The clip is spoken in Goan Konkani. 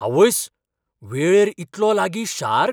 आवयस्स, वेळेर इतलो लागीं शार्क?